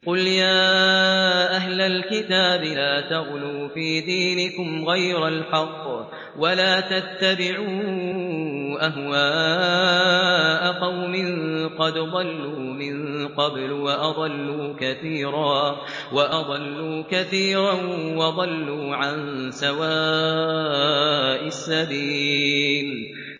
قُلْ يَا أَهْلَ الْكِتَابِ لَا تَغْلُوا فِي دِينِكُمْ غَيْرَ الْحَقِّ وَلَا تَتَّبِعُوا أَهْوَاءَ قَوْمٍ قَدْ ضَلُّوا مِن قَبْلُ وَأَضَلُّوا كَثِيرًا وَضَلُّوا عَن سَوَاءِ السَّبِيلِ